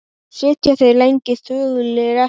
Sitja þeir lengi þögulir eftir.